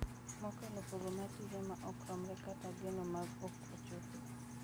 Mokalo pogo mar tije ma ok romre kata geno ma ok ochopo.